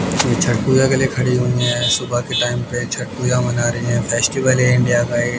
छठ पूजा के लिए खड़ी हुई हैं सुबह के टाइम पे छठ पूजा मना रही हैं फेस्टिवल है इंडिया का ये--